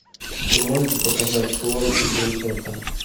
ты можешь показать слон и принцесса